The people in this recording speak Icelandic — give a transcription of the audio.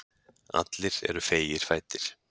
Allir eru feigir fæddir.